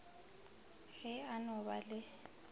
ge a no ba le